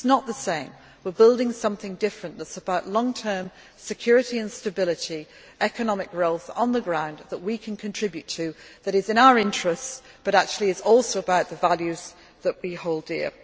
wherever. It is not the same. We are building something different that is about long term security and stability, economic growth on the ground that we can contribute to that is in our interest but that actually is also about the values that we